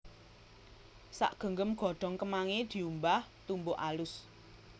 Sagenggem godhong kemangi diumbah tumbuk alus